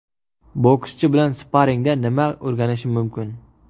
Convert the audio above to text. Bokschi bilan sparingda nimadir o‘rganishim mumkin.